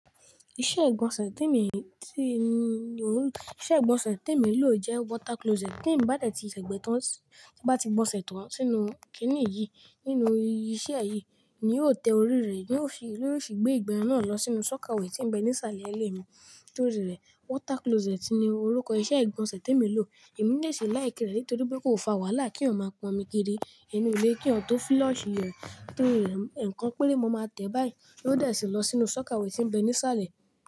Iṣẹ́ ìgbọ̀nsẹ̀ tí èmi ti, ìṣẹ́ ìgbọ̀nsẹ̀ tí èmi ń lò jẹ́ water closet. Tí èmi bá dẹ̀tì ṣè gbonsẹ́ tàn tí bá ti gbọ̀nsẹ̀ tán sínú kìnì íyí nínú ìṣe yìí, èmi yóò tẹ orí rẹ̀, yóò fi, yóò fi gbé ìgbẹ́ náà lọ sínú sọ́kọ̀wé tí ń bẹ ní ìsàlẹ̀ ilé mi torí rẹ̀. Water closet ni orúkọ iṣẹ́ ìgbọ̀nsẹ̀ tí èmi ń lò. Èmi ní le ṣe láìkí rẹ̀ nítorí pé kò fa wàhálà kí wọ́n máa pọn omi kiri nínú ilé kí wọ́n tó flush rẹ̀ torí rẹ̀, èèkan péré mo máa tẹ̀ báyìí ló dẹ̀ sí lọ sínú sọ́kawé tí ń bẹ ní ìsàlẹ̀.